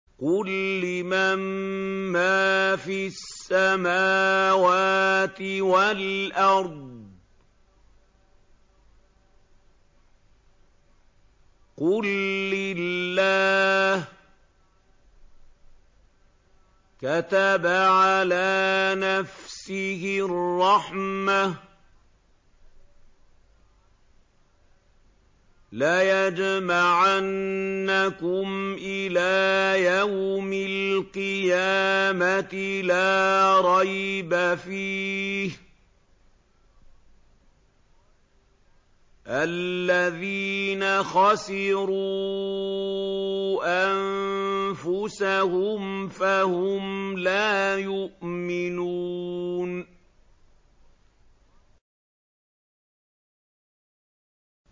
قُل لِّمَن مَّا فِي السَّمَاوَاتِ وَالْأَرْضِ ۖ قُل لِّلَّهِ ۚ كَتَبَ عَلَىٰ نَفْسِهِ الرَّحْمَةَ ۚ لَيَجْمَعَنَّكُمْ إِلَىٰ يَوْمِ الْقِيَامَةِ لَا رَيْبَ فِيهِ ۚ الَّذِينَ خَسِرُوا أَنفُسَهُمْ فَهُمْ لَا يُؤْمِنُونَ